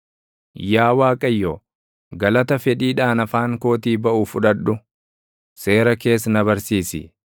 Yaa Waaqayyo, // galata fedhiidhaan afaan kootii baʼu fudhadhu; seera kees na barsiisi.